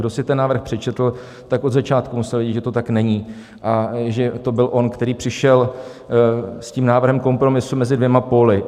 Kdo si ten návrh přečetl, tak od začátku musel vědět, že to tak není a že to byl on, který přišel s tím návrhem kompromisu mezi dvěma póly.